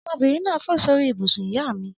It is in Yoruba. Ọmọbìnrin náà fò sórí ibùsùn ìyá mi.